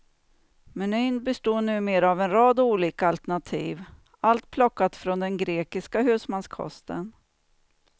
Menyn består numera av en rad olika alternativ, allt plockat från den grekiska husmanskosten.